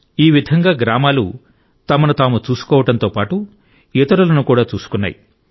ఈ విధంగా గ్రామాలు తమను తాము చూసుకోవడంతో పాటు ఇతరులను కూడా చూసుకున్నాయి